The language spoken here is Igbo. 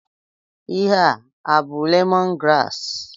Ihe a abụ lemon graasị?